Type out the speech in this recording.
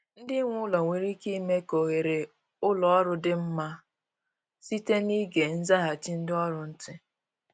Ndị nwe ụlọ nwere ike ime ka oghere ụlọ ọrụ dị mma site n’ịge nzaghachi ndị ọrụ ntị